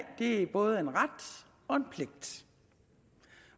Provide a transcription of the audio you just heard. er både en ret og en pligt